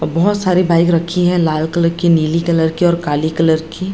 ओ बहोत सारी बाइक रखी है लाल कलर की नीली कलर की और काली कलर की।